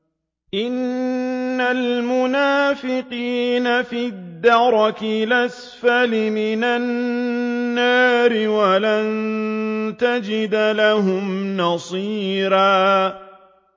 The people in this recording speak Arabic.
إِنَّ الْمُنَافِقِينَ فِي الدَّرْكِ الْأَسْفَلِ مِنَ النَّارِ وَلَن تَجِدَ لَهُمْ نَصِيرًا